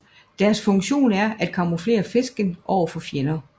Deres funktion er at camouflere fisken over for fjender